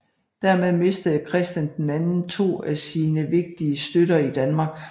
Dermed mistede Christian II to af sine vigtigste støtter i Danmark